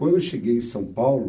Quando eu cheguei em São Paulo,